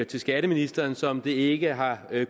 til skatteministeren som det ikke har